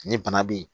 Ni bana be yen